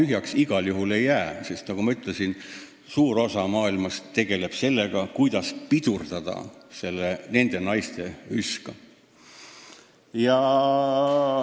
Maa igal juhul tühjaks ei jää, sest nagu ma ütlesin, tegeleb suur osa maailmast sellega, kuidas oma naiste üska pidurdada.